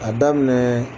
A daminɛ